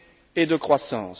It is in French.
et de croissance.